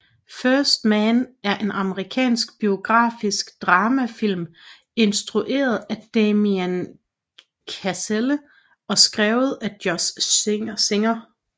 First Man er en amerikansk biografisk dramafilm instrueret af Damien Chazelle og skrevet af Josh Singer